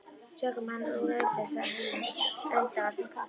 Tökum hann úr umferð sagði annar, enda var þeim kalt.